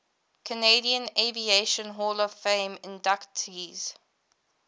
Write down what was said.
canadian aviation hall of fame inductees